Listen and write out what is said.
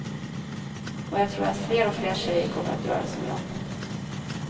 Och jag tror att fler och fler tjejer kommer att göra som jag.